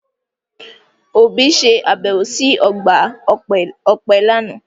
Obi se abẹwo si ọgba ọpẹ lana.